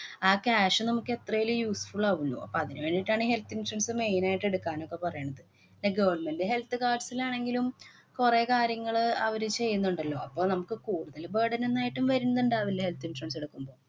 ആ cash നമുക്ക് എത്രേലും useful ആകൂലോ. അപ്പൊ അതിനു വേണ്ടീട്ടാണ് ഈ health insurance main ആയിട്ട് എടുക്കാനൊക്കെ പറയണത്. പിന്നെ government health cards ലാണെങ്കിലും കൊറേ കാര്യങ്ങള് അവര് ചെയ്യുന്നുണ്ടല്ലോ. അപ്പൊ നമുക്ക് കൂടുതല് burden ന്നും ഏട്ടും വരുന്നുണ്ടാവില്ലേ health insurance എടുക്കുമ്പോ.